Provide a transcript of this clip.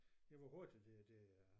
Ja hvor hurtigt det det er